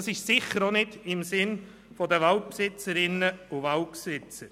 Das ist sicher auch nicht im Sinne der Waldbesitzerinnen und Waldbesitzer.